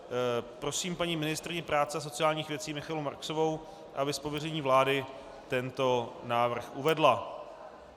Prosím paní ministryni práce a sociálních věcí Michaelu Marksovou, aby z pověření vlády tento návrh uvedla.